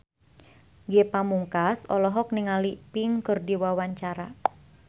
Ge Pamungkas olohok ningali Pink keur diwawancara